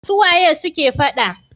Su waye suke fada?